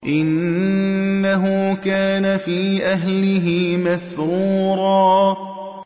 إِنَّهُ كَانَ فِي أَهْلِهِ مَسْرُورًا